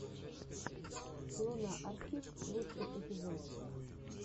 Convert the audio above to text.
луна архив лучший эпизод